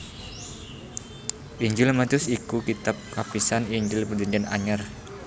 Injil Matius iku kitab kapisan Injil Prajanjian Anyar